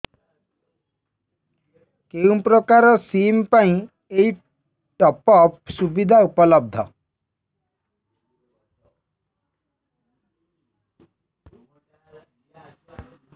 କେଉଁ ପ୍ରକାର ସିମ୍ ପାଇଁ ଏଇ ଟପ୍ଅପ୍ ସୁବିଧା ଉପଲବ୍ଧ